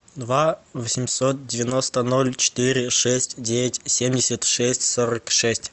два восемьсот девяносто ноль четыре шесть девять семьдесят шесть сорок шесть